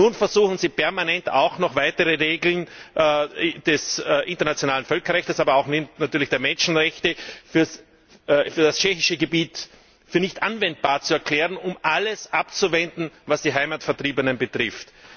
Nun versuchen sie permanent, auch noch weitere Regeln des internationalen Völkerrechts, aber natürlich auch der Menschenrechte für das tschechische Gebiet für nicht anwendbar zu erklären, um alles abzuwenden, was die Heimatvertriebenen betrifft.